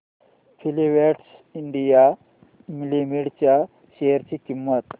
Filatex India Limited च्या share ची किंमत